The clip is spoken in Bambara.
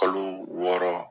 Kalo wɔɔrɔ.